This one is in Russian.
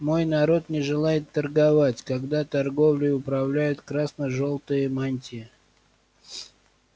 мой народ не желает торговать когда торговлей управляют красно-жёлтые мантии